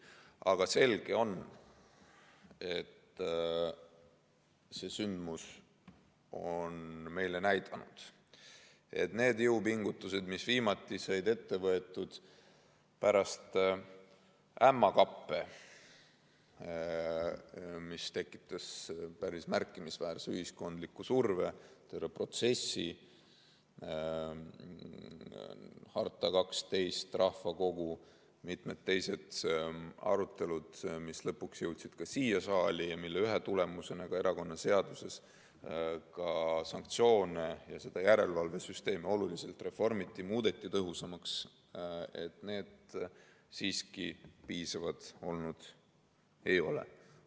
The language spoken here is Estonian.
Aga on selge, et see sündmus on meile näidanud, et need jõupingutused, mis viimati said ette võetud pärast ämmakappe, mis tekitasid päris märkimisväärse ühiskondliku surve, terve protsessi, "Harta 12", rahvakogu, mitmed teised arutelud, mis lõpuks jõudsid ka siia saali ja mille ühe tulemusena erakonnaseaduses sanktsioone ja järelevalvesüsteemi oluliselt reformiti ja tõhusamaks muudeti, siiski piisavad olnud ei ole.